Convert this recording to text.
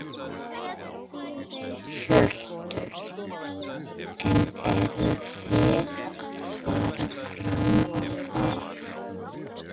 Hjörtur: En eruð þið að fara fram á það?